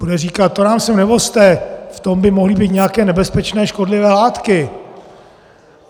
Bude říkat: To nám sem nevozte, v tom by mohly být nějaké nebezpečné škodlivé látky.